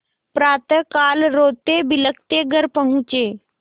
प्रातःकाल रोतेबिलखते घर पहुँचे